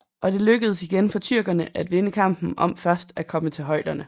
Og det lykkedes igen for tyrkerne at vinde kampen om først at komme til højderne